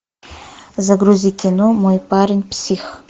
загрузи кино мой парень псих